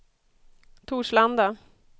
Torslanda